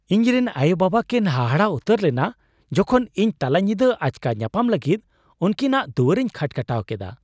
ᱤᱧᱨᱮᱱ ᱟᱭᱳᱼᱵᱟᱵᱟ ᱠᱤᱱ ᱦᱟᱦᱟᱲᱟᱜ ᱩᱛᱟᱹᱨ ᱞᱮᱱᱟ ᱡᱚᱠᱷᱚᱱ ᱤᱧ ᱛᱟᱞᱟᱧᱤᱫᱟᱹ ᱟᱪᱠᱟ ᱧᱟᱯᱟᱢ ᱞᱟᱹᱜᱤᱫ ᱩᱱᱠᱤᱱᱟᱜ ᱫᱩᱣᱟᱹᱨᱤᱧ ᱠᱷᱟᱴᱼᱠᱷᱟᱴᱟᱣ ᱠᱮᱫᱟ ᱾